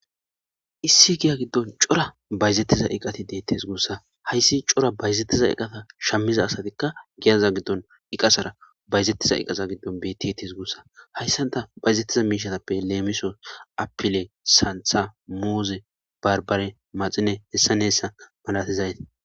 Issi giya giddon cora bayzettiza iqati deettes guussa hayssi cora bayzetiza eqasa shammiza asatikka giyaza giddon iqasara bayzettiza iqasa giddon betti etees guussa hayssanta bayzettiza miishatappe leemiso apile santha muuze barbare maxine hessaneessa malatizayti